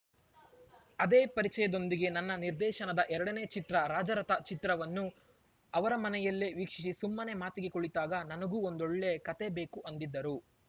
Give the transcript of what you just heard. ಅದೇ ಪರಿಚಯದೊಂದಿಗೆ ನನ್ನ ನಿರ್ದೇಶನದ ಎರಡನೇ ಚಿತ್ರ ರಾಜರಥ ಚಿತ್ರವನ್ನು ಅವರ ಮನೆಯಲ್ಲೇ ವೀಕ್ಷಿಸಿ ಸುಮ್ಮನೆ ಮಾತಿಗೆ ಕುಳಿತಾಗ ನನಗೂ ಒಂದೊಳ್ಳೆ ಕತೆ ಬೇಕು ಅಂದಿದ್ದರು